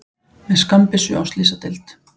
Með skammbyssu á slysadeild